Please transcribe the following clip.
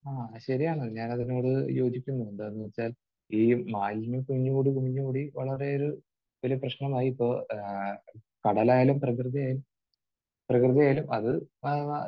ആഹ്. ശരിയാണ്. ഞാൻ അതിനോട് യോജിക്കുന്നു. എന്താണെന്ന് വെച്ചാൽ ഈ മാലിന്യം കുമിഞ്ഞ് കൂടി കുമിഞ്ഞ് കൂടി വളരെയൊരു ഒരു പ്രശ്നമായി ഇപ്പോൾ. ആഹ് കടലായാലും പ്രകൃതി പ്രകൃതിയായാലും അത് ആഹ്